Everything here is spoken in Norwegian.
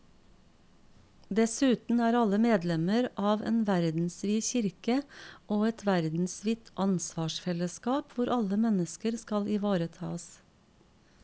Dessuten er alle medlemmer av en verdensvid kirke og et verdensvidt ansvarsfellesskap hvor alle mennesker skal ivaretas.